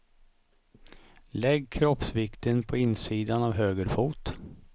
Lägg kroppsvikten på insidan av höger fot.